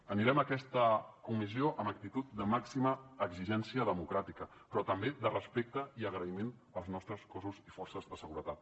anirem a aquesta comissió amb actitud de màxima exigència democràtica però també de respecte i agraïment als nostres cossos i forces de seguretat